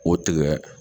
O tigɛ